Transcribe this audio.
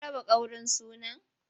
An raba ƙaurin sunan?